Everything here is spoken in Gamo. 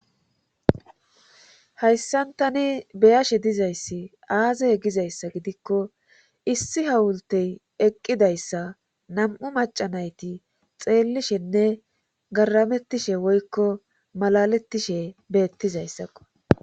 Hayssan tani be7ashe dizayssi aaze gizayssa gidikko issi hawulte eqqidayssa nam7u macca nayti xeellishenne garamettishe woykko malalettishe beettizaysakko.